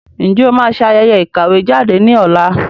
Ǹjẹ́ o máa ṣe ayẹyẹ ìkàwé jáde ní ọ̀la?